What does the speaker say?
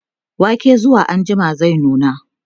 waken zuwa anjima zai nuna